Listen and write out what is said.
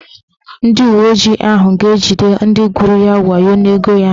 Ndị uweojii ahụ ga-ejide ndị gwuru ya wayo n'ego ya.